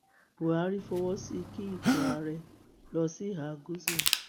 buhari fọwọ sí i kí ipò ààrẹ lọ sí ìhà gúúsù